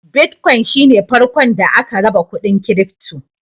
Bitcoin shi ne farkon da aka raba kuɗin kirifto.